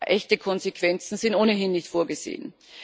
Echte Konsequenzen sind ohnehin nicht vorgesehen.